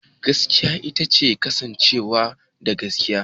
Gaskiya ita ce kasancewa da gaskiya.